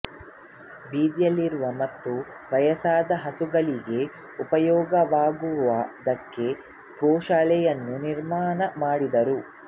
ಬೀದಿಯಲ್ಲಿರುವ ಮತ್ತು ವಯಸ್ಸಾದ ಹಸುಗಳಿಗೆ ಉಪಯೋಗವಾಗುವುದಕ್ಕೆ ಗೋಶಾಲೆಯನ್ನು ನಿರ್ಮಾಣ ಮಾಡಿದರು